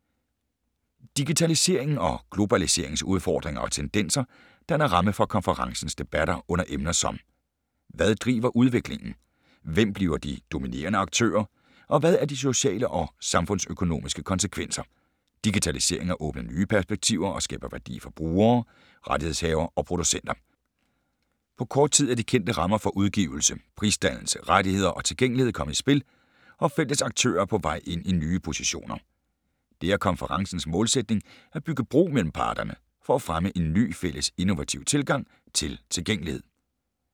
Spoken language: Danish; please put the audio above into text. Digitaliseringen og globaliseringens udfordringer og tendenser danner ramme for konferencens debatter under emner som: Hvad driver udviklingen? Hvem bliver de dominerende aktører? Og hvad er de sociale og samfundsøkonomiske konsekvenser? Digitaliseringen har åbnet nye perspektiver og skaber værdi for brugere, rettighedshavere og producenter. På kort tid er de kendte rammer for udgivelse, prisdannelse, rettigheder og tilgængelighed kommet i spil, og feltets aktører er på vej ind i nye positioner. Det er konferencens målsætning at bygge bro mellem parterne for at fremme en ny fælles innovativ tilgang til tilgængelighed.